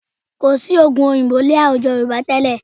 Kò sí oògùn òyìnbó ní àwùjọ Yorùbá tẹ́lẹ̀